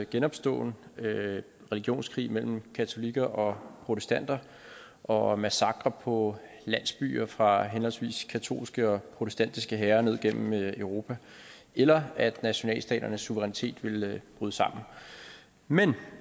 genopståen religionskrig mellem katolikker og protestanter og massakrer på landsbyer fra henholdsvis katolske og protestantiske hære ned gennem europa eller at nationalstaternes suverænitet ville bryde sammen men